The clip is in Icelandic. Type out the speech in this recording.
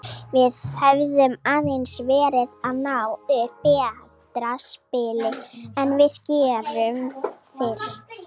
Við höfum aðeins verið að ná upp betra spili en við gerðum fyrst.